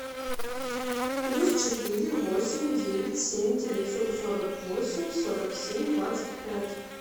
плюс четыре восемь девять семь девятьсот сорок восемь сорок семь двадцать пять